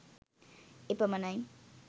එපමණයි